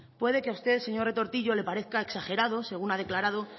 puede que a usted señor retortillo le parezca exagerado según ha declarado